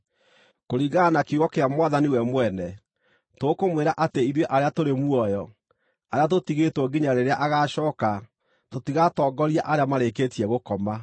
Kũringana na kiugo kĩa Mwathani we mwene, tũkũmwĩra atĩ ithuĩ arĩa tũrĩ muoyo, arĩa tũtigĩtwo nginya rĩrĩa agacooka tũtigatongoria arĩa marĩkĩtie gũkoma.